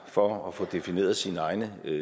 for at få defineret sine egne